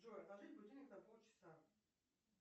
джой отложить будильник на полчаса